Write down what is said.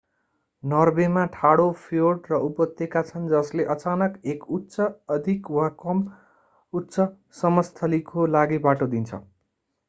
नर्वेमा ठाडो फ्योर्ड र उपत्यका छन् जसले अचानक एक उच्च अधिक वा कम उच्चसमस्थलीको लागि बाटो दिन्छ